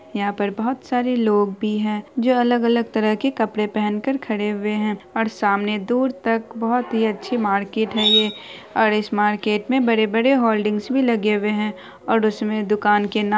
यहाँ पर बहुत सारे लोग भी हैं जो अलग अलग तरह के कपडे पहनकर खड़े हुए हैं और सामने दूर तक बहुत ही अच्छी मार्र्केट है ये और इस मार्किट में बड़े बड़े होल्डिंग भी लगे हुए है और उसमे दुकान के नाम--